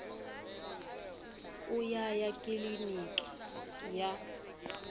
u ya ya kiliniki ya